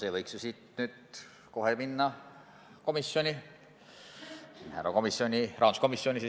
See võiks ju siit kohe komisjoni minna, rahanduskomisjoni.